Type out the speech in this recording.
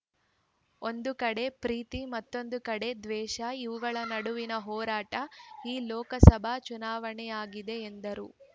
ಒಂದು ಕಡೆ ಪ್ರೀತಿ ಮತ್ತೊಂದು ಕಡೆ ದ್ವೇಷ ಇವುಗಳ ನಡುವಿನ ಹೋರಾಟ ಈ ಲೋಕಸಭಾ ಚುನಾವಣೆಯಾಗಿದೆ ಎಂದರು